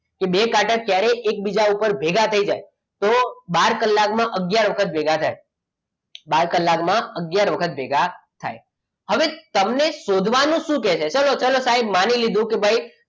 કે બે કાંટા જ્યારે એકબીજા ઉપર ભેગા થઈ જાય તો બાર કલાકમાં આગયાર વખત ભેગા થાય બાર કલાકમાં આગયાર વખત ભેગા થાય હવે તમને શોધવાનું શું કહે છે ચલો સાહેબ માની લીધું કે ભાઈ